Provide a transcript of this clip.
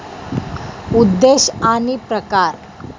उद्देश आणि प्रकार